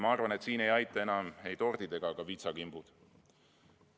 Ma arvan, et siin ei aita enam ei tordid ega ka vitsakimbud.